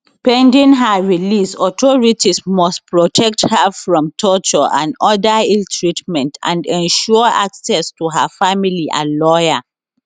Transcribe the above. pending her release authorities must protect her from torture and oda illtreatment and ensure access to her family and lawyer